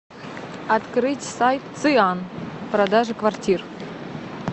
открыть сайт циан продажа квартир